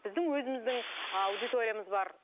біздің өзіміздің аудиториямыз бар